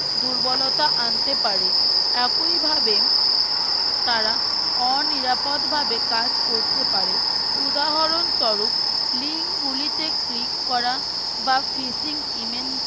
দুর্বলতা আনতে পারে একই ভাবে তারা অনিরাপদ ভাবে কাজ করতে পারে উদাহরণস্বরূপ link গুলিতে click করা বা Fishing emain